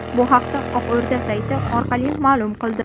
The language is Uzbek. Bu haqda Oq O‘rda sayti orqali ma’lum qildi .